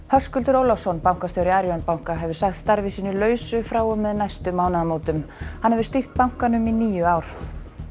Höskuldur Ólafsson bankastjóri Arion banka hefur sagt starfi sínu lausu frá og með næstu mánaðamótum hann hefur stýrt bankanum í níu ár